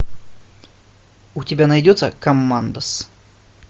м